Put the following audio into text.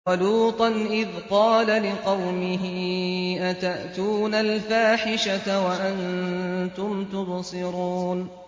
وَلُوطًا إِذْ قَالَ لِقَوْمِهِ أَتَأْتُونَ الْفَاحِشَةَ وَأَنتُمْ تُبْصِرُونَ